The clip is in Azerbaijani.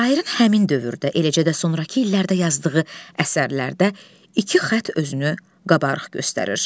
Şairin həmin dövrdə, eləcə də sonrakı illərdə yazdığı əsərlərdə iki xətt özünü qabarıq göstərir.